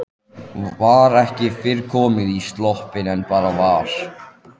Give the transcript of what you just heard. Var ekki fyrr komin í sloppinn en barið var.